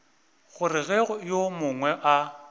gore ge yo mongwe a